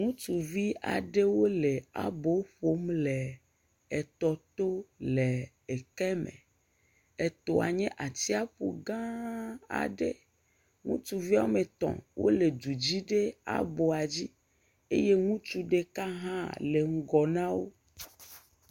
Ŋutsuvi aɖewo le abo ƒom le etɔ to le ekeme. Etɔa nye atsiaƒu gã aɖe. Ŋutsu wo me etɔ wole du dzi ɖe aboa dzi eye ŋutsu ɖeka hã le ŋgɔ nawo.